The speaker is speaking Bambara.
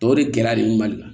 Tɔw de gɛrɛ lli kan